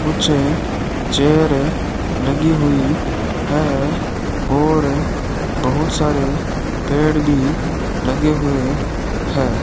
कुछ चेयर लगी हुई है और बहुत सारे पेड़ भी लगे हुए है।